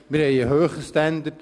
Wir haben einen hohen Standard.